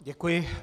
Děkuji.